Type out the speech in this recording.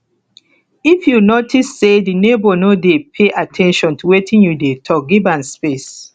if you notice sey di neighbour no dey pay at ten tion to wetin you dey talk give am space